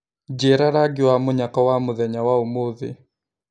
Njĩra rangĩ wa mũnyaka wa mũthenya wa ũmũthi